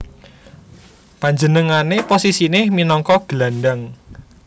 Panjenengané posisiné minangka gelandang